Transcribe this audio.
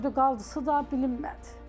Öldü, qaldısı da bilinmədi.